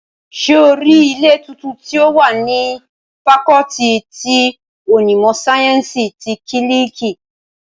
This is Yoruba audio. Ṣé o rí ilé tuntun tí ó wà ní fakọọti ti onímọ̀ sáyẹ́ǹsì ti kílíìkì?